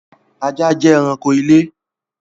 ajá jẹ́ ẹrạnko ti ilé